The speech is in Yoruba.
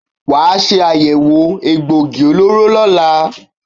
Wà á ṣe àyẹ̀wò egboògi olóró lọ́la!